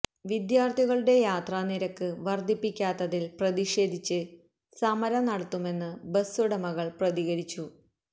വിദ്യാര്ഥികളുടെ യാത്രാ നിരക്ക് വര്ധിപ്പിക്കാത്തതില് പ്രതിഷേധിച്ച് സമരം നടത്തുമെന്ന് ബസുടകള് പ്രതികരിച്ചു